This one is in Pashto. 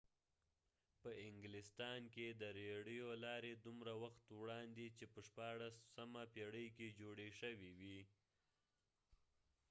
په انګلستان کې د رېړیو لارې دومره وخت وړاندې چې په 16مه پېړۍ کې جوړې شوې وې